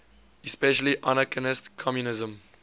especially anarchist communism